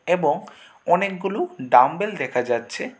এবং অনেকগুলো ডাম্বেল দেখা যাচ্ছে।